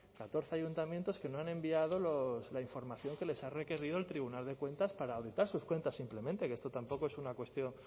catorce ayuntamientos que no han enviado la información que les ha requerido el tribunal de cuentas para auditar sus cuentas simplemente que esto tampoco es una cuestión